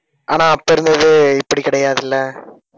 ஆனா அப்ப இருந்தது இப்படி கிடையாது இல்ல